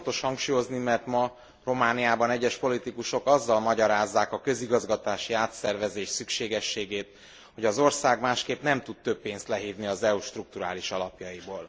Ezt fontos hangsúlyozni, mert ma Romániában egyes politikusok azzal magyarázzák a közigazgatási átszervezés szükségességét, hogy az ország másképp nem tud több pénzt lehívni az EU strukturális alapjaiból.